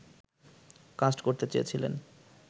caste করতে চেয়েছিলেন